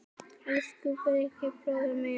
Elsku Bragi bróðir minn.